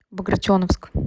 багратионовск